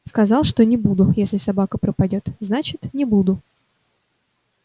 сказал что не буду если собака пропадёт значит не буду